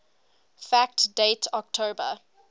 fact date october